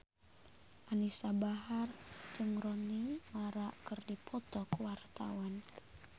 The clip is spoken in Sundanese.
Anisa Bahar jeung Rooney Mara keur dipoto ku wartawan